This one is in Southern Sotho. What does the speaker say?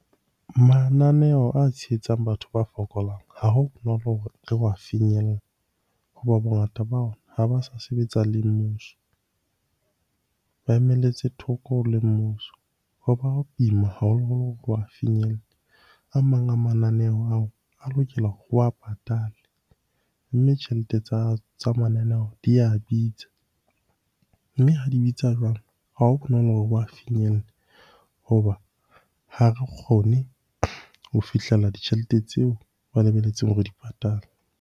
Mananeo a tshehetsang batho ba fokolang ha ho bonolo hore re wa finyelle, hoba bongata ba ona ha ba sa sebetsa le mmuso. Ba emelletse thoko le mmuso ho ba boima haholoholo ho wa finyella. A mang a mananeo ao a lokela ho wa patale, mme tjhelete tsa mananeo di ya bitsa. Mme ha di bitsa jwalo, ha ho bonolo finyelle hoba ha re kgone ho fihlela ditjhelete tseo ba lebelletseng re di patale.